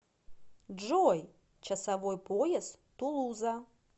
джой часовой пояс тулуза